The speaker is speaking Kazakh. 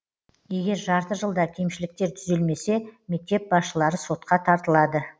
егер жарты жылда кемшіліктер түзелмесе мектеп басшылары сотқа тартылады